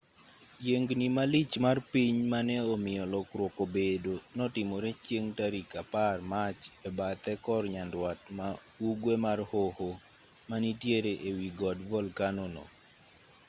yiengni malich mar piny mane omiyo lokruok obedo notimore chieng' tarik 10 mach e bathe kor nyandwat ma ugwe mar hoho manitiere e wi god volkano no